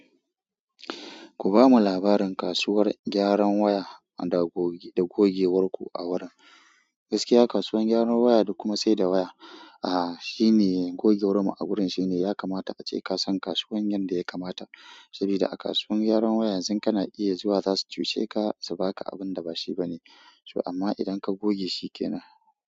Ku ba mu labarin kasuwar gyaran waya da gogewar ku a wurin. Gaskiya kasuwar gyaran waya da kuma saida waya, a shine gogewar mu a wurin shine yakamata ace kasan kasuwar yanda yakamata. Sabida a kasuwar gyaran waya yanzun kana iya zuwa zasu cuceka subaka abinda ba shi bane to amma idan ka goge shi kenan.